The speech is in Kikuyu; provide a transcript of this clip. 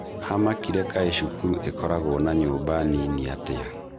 Amakire kaĩ cukuru ĩkoragwo na nyumba nini atĩa?